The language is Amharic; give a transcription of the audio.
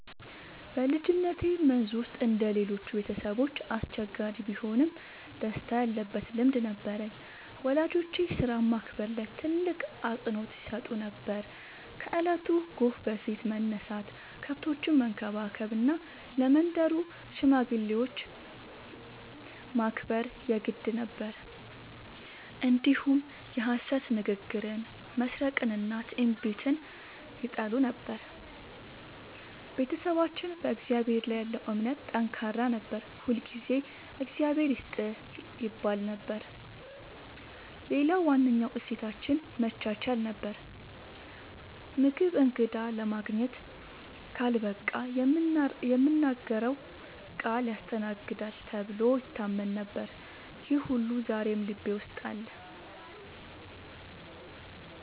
በልጅነቴ መንዝ ውስጥ እንደ ሌሎቹ ቤተሰቦች አስቸጋሪ ቢሆንም ደስታ ያለበት ልምድ ነበረኝ። ወላጆቼ ሥራን ማክበር ላይ ትልቅ አፅንዖት ይሰጡ ነበር፤ ከእለቱ ጎህ በፊት መነሳት፣ ከብቶችን መንከባከብ እና ለመንደሩ ሽማግሌዎች ማክበር የግድ ነበር። እንዲሁም የሐሰት ንግግርን፣ መስረቅንና ትዕቢትን ይጠሉ ነበር። ቤተሰባችን በእግዚአብሔር ላይ ያለው እምነት ጠንካራ ነበር፤ ሁልጊዜ “እግዚአብሔር ይስጥህ” ይባል ነበር። ሌላው ዋነኛ እሴታችን መቻቻል ነበር፤ ምግብ እንግዳ ለማግኘት ካልበቃ የምናገረው ቃል ያስተናግዳል ተብሎ ይታመን ነበር። ይህ ሁሉ ዛሬም ልቤ ውስጥ አለ።